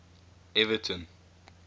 everton